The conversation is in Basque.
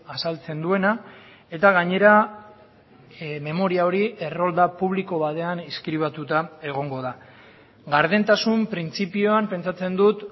azaltzen duena eta gainera memoria hori errolda publiko batean inskribatuta egongo da gardentasun printzipioan pentsatzen dut